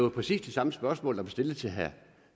et par chancer og